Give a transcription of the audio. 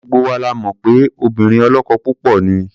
Gbogbo wa la mọ̀ pé obìnrin ọlọ́kọ púpọ̀ ni.